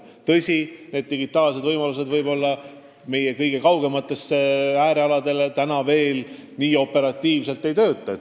Tõsi, digitaalsed lahendused meie kõige kaugematel äärealadel veel kuigi hästi ei tööta.